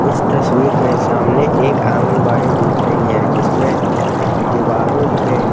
इस तस्वीर में सामने एक आंगन बाडी दिख रही है जिसमे दीवारों पे --